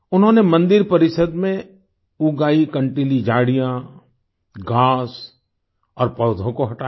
उन्होंने मंदिर परिसर में उग आयी कंटीली झाड़ियाँ घास और पौधों को हटाया